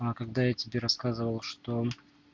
а когда я тебе рассказывал что